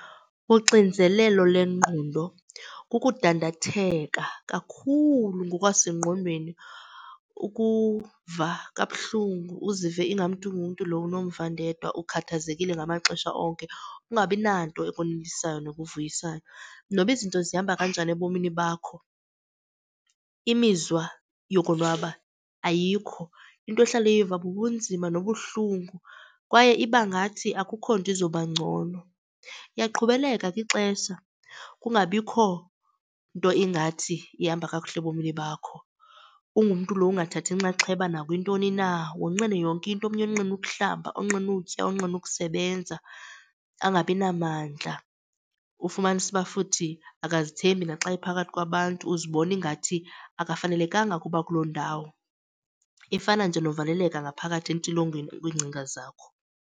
Uxinzelelo lengqondo kukudandathenga kakhulu ngokwasengqondweni, ukuva kabuhlungu uzive ingamntu ngumntu lo unomvandedwa, ukhathazekile ngamaxesha onke. Ungabi nanto ekonwabisayo nekuvuyisayo, noba izinto zihamba kanjani ebomini bakho imizwa yokonwaba ayikho. Into ohlala uyiva bubunzima nobuhlungu kwaye iba ngathi akukho nto izoba ngcono. Iyaqhubeleka ke ixesha kungabikho nto ingathi ihamba kakuhle ebomini bakho. Ungumntu lo ungathathi nxaxheba nakwintoni na, wonqene yonke into. Omnye onqene ukuhlamba, onqene ukutya, onqene ukusebenza angabi namandla, ufumanise ukuba futhi akazithembi naxa ephakathi kwabantu, uzibona ingathi akafanelekanga ukuba kulo ndawo. Ifana nje novaleleka ngaphakathi entilongweni kwiingcinga zakho.